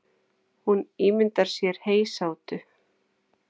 Hún ímyndar sér heysátu.